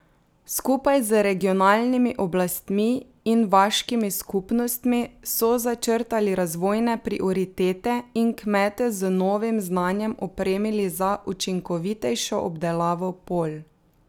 Skupaj z regionalnimi oblastmi in vaškimi skupnostmi so začrtali razvojne prioritete in kmete z novim znanjem opremili za učinkovitejšo obdelavo polj.